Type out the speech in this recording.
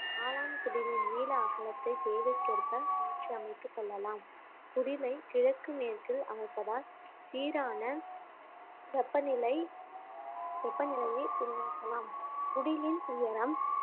காளான் குடிலின் நீள அகலத்தை தேவைக்கேற்ப மாற்றி அமைத்துக் கொள்ளலாம் குடிலை கிழக்கு மேற்கில் அமைப்பதால் சீரான வெப்பநிலை வெப்பநிலையை உருவாக்கலாம் குடிலின் உயரம்